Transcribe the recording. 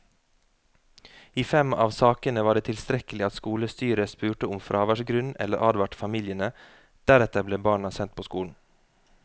I fem av sakene var det tilstrekkelig at skolestyret spurte om fraværsgrunn eller advarte familiene, deretter ble barna sendt på skolen.